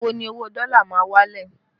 Ìgbà wo ni owó dọ́là ma wálẹ̀?